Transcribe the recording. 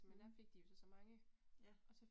Mh, ja